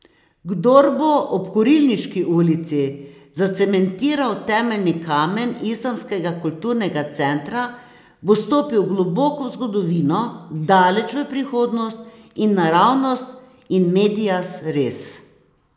Kdor bo ob Kurilniški ulici zacementiral temeljni kamen islamskega kulturnega centra, bo stopil globoko v zgodovino, daleč v prihodnost in naravnost in medias res.